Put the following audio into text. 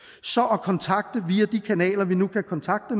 at kontakte via de kanaler vi nu kan kontakte